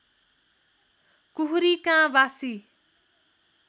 कुखुरी काँ बासी